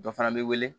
Dɔ fana bɛ wele